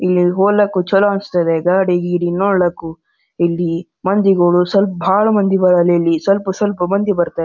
ಇಲ್ಲಿ ಹೋಲೊ ಕುಚಲ ಅನ್ಸಿಥದೇ ಗಡಿ ಗೀಡಿ ನೋಡೇಕು ಇಲ್ಲಿ ಮಂದಿಗೂ ಬಹಳ ಮಂದಿ ಇದ್ದರೆ ಸ್ವಲ್ಪ ಸ್ವಲ್ಪ ಮಂದಿ ಬರ್ತಾರ.